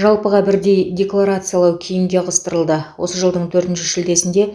жалпыға бірдей декларациялау кейінге ығыстырылды осы жылдың төртінші шілдесінде